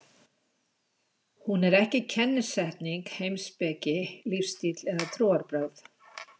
Hún er ekki kennisetning, heimspeki, lífstíll eða trúarbrögð.